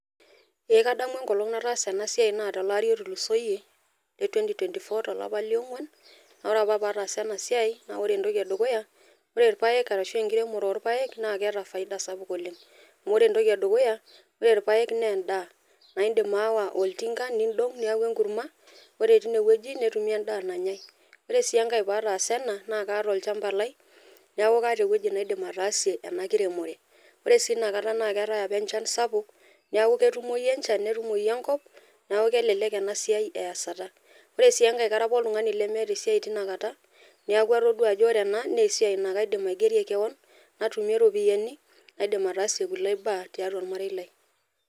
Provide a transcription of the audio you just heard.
Ee kadamu enkolong nataasa ena siai naa tolari otulusoyie le 2024 tolapa niong'uan naa ore apa paatasa ena siai naa ore entoki edukuya ore irpaek arashua enkiremore oorpaek naa keeta faida sapuk oleng amu ore entoki edukuya ore irpaek naa endaa naaa intim aawa oltinka niidong neeku enkurma ore tine wueni netumi endaa nanyai ore sii enkai paataasa ena naa kaata olchamba lai neeku kaata ewueji naidim ataasi ena kiremore ore sii inakata naa keetai apa enchan sapuk neeku ketumoyu enchan netumoyu enkop neeku kelelek ena siaai eeyasata ore sii enkai kara apa oltung'ani lemeeta esiai tinakata neeku atodua ajo ore ena naa kaidim aigierie kewon natumie iropiyiani naidim ataasie kulie baa tiatua ormarei lai.